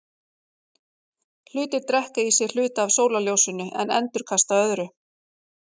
Hlutir drekka í sig hluta af sólarljósinu en endurkasta öðru.